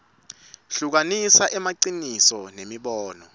hlukanisa emaciniso nemibono